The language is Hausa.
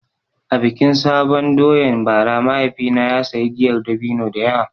A bikin sabon doyan bara mahaifina ya sayi giyar dabino da yawa.